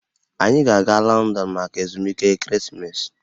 Anyị ga-aga Lọndọn maka ezumike ekeresimesi